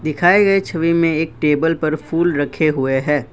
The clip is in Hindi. दिखाए गए छवि में एक टेबल पर फूल रखे हुए हैं।